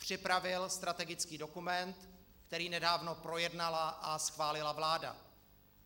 Připravil strategický dokument, který nedávno projednala a schválila vláda.